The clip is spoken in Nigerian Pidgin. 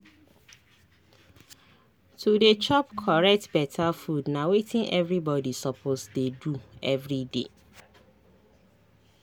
to dey chop correct beta food na wetin everybody suppose dey do everyday.